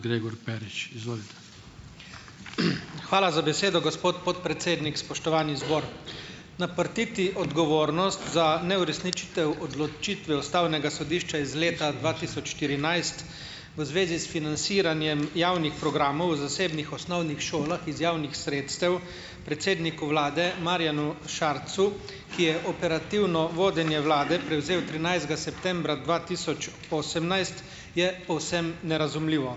Hvala za besedo, gospod podpredsednik. Spoštovani zbor! Naprtiti odgovornost za neuresničitev odločitve ustavnega sodišča iz leta dva tisoč štirinajst v zvezi s financiranjem javnih programov v zasebnih osnovnih šolah iz javnih sredstev predsedniku vlade Marjanu Šarcu, ki je operativno vodenje vlade prevzel trinajstega septembra dva tisoč osemnajst, je povsem nerazumljivo.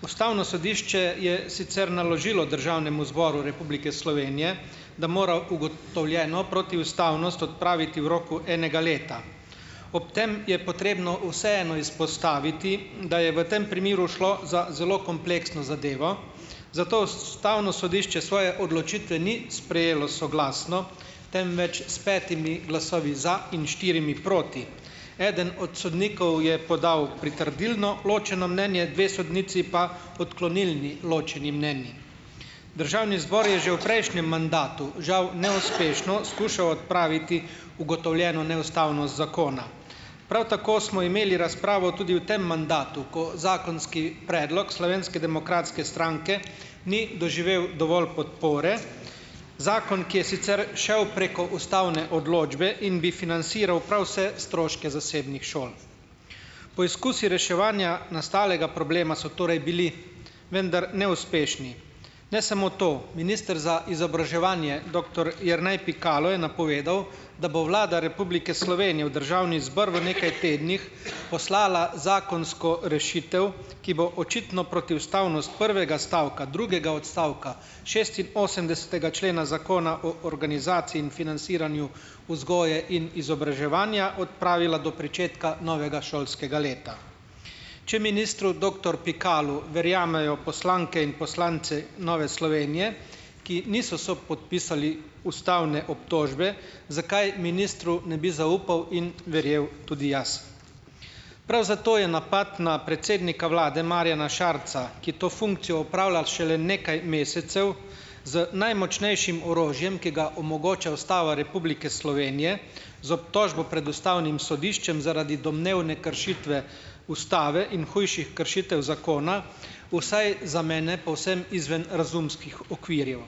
Ustavno sodišče je sicer naložilo Državnemu zboru Republike Slovenije, da mora ugotovljeno protiustavnost odpraviti v roku enega leta. Ob tem je potrebno vseeno izpostaviti, da je v tem primeru šlo za zelo kompleksno zadevo, zato ustavno sodišče svoje odločitve ni sprejelo soglasno, temveč s petimi glasovi za in štirimi proti. Eden od sodnikov je podal pritrdilno ločeno mnenje, dve sodnici pa odklonilni ločeni mnenji. Državni zbor je že v prejšnjem mandatu žal neuspešno skušal odpraviti ugotovljeno neustavnost zakona. Prav tako smo imeli razpravo tudi v tem mandatu, ko zakonski predlog Slovenske demokratske stranke ni doživel dovolj podpore, zakon, ki je sicer šel preko ustavne odločbe in bi financiral prav vse stroške zasebnih šol. Poizkusi reševanja nastalega problema so torej bili, vendar neuspešni. Ne samo to. Minister za izobraževanje, doktor Jernej Pikalo, je napovedal, da bo Vlada Republike Slovenije v državni zbor v nekaj tednih poslala zakonsko rešitev, ki bo očitno protiustavnost prvega stavka drugega odstavka šestinosemdesetega člena Zakona o organizaciji in financiranju vzgoje in izobraževanja odpravila do pričetka novega šolskega leta. Če ministru doktor Pikalu verjamejo poslanke in poslanci Nove Slovenije, ki niso sopodpisali ustavne obtožbe, zakaj ministru ne bi zaupal in verjel tudi jaz? Prav zato je napad na predsednika vlade Marjana Šarca, ki to funkcijo opravlja šele nekaj mesecev, z najmočnejšim orožjem, ki ga omogoča Ustava Republike Slovenije, z obtožbo pred ustavnim sodiščem zaradi domnevne kršitve ustave in hujših kršitev zakona vsaj za mene povsem izven razumskih okvirjev.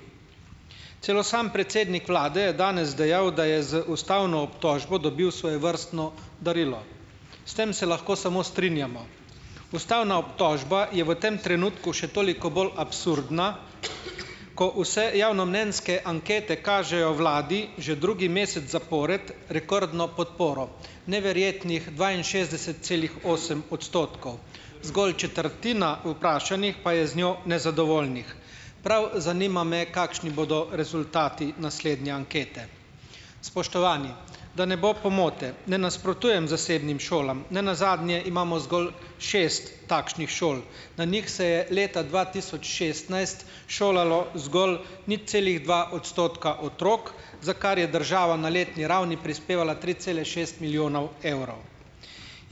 Celo sam predsednik vlade je danes dejal, da je z ustavno obtožbo dobil svojevrstno darilo. S tem se lahko samo strinjamo. Ustavna obtožba je v tem trenutku še toliko bolj absurdna, ko vse javnomnenjske ankete kažejo vladi že drugi mesec zapored rekordno podporo, neverjetnih dvainšestdeset celih osem odstotkov. Zgolj četrtina vprašanih pa je z njo nezadovoljnih. Prav zanima me, kakšni bodo rezultati naslednje ankete. Spoštovani, da ne bo pomote, ne nasprotujem zasebnim šolam, nenazadnje imamo zgolj šest takšnih šol. Na njih se je leta dva tisoč šestnajst šolalo zgolj nič celih dva odstotka otrok, za kar je država na letni ravni prispevala tri cele šest milijonov evrov.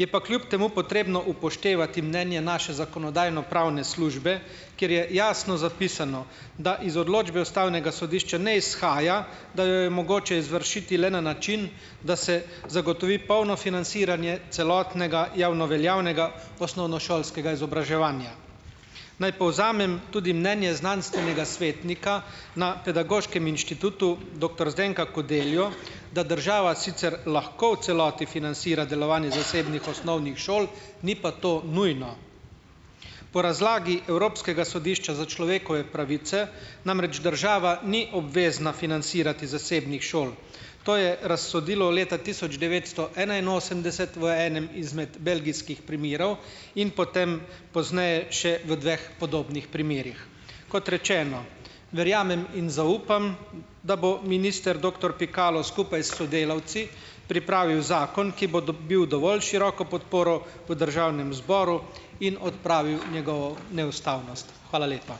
Je pa kljub temu potrebno upoštevati mnenje naše Zakonodajno-pravne službe, kjer je jasno zapisano, da iz odločbe ustavnega sodišča ne izhaja, da jo je mogoče izvršiti le na način, da se zagotovi polno financiranje celotnega javno veljavnega osnovnošolskega izobraževanja. Naj povzamem tudi mnenje znanstvenega svetnika na Pedagoškem inštitutu, doktor Zdenka Kodeljo, da država sicer lahko v celoti financira delovanje zasebnih osnovnih šol, ni pa to nujno. Po razlagi Evropskega sodišča za človekove pravice, namreč država ni obvezna financirati zasebnih šol. To je razsodilo leta tisoč devetsto enainosemdeset v enem izmed belgijskih primerov in potem pozneje še v dveh podobnih primerih. Kot rečeno, verjamem in zaupam, da bo minister doktor Pikalo skupaj s sodelavci pripravil zakon, ki bo dobil dovolj široko podporo v državnem zboru in odpravil njegovo neustavnost. Hvala lepa.